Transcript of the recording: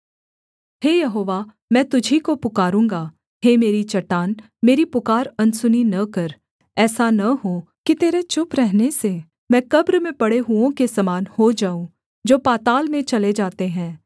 हे यहोवा मैं तुझी को पुकारूँगा हे मेरी चट्टान मेरी पुकार अनसुनी न कर ऐसा न हो कि तेरे चुप रहने से मैं कब्र में पड़े हुओं के समान हो जाऊँ जो पाताल में चले जाते हैं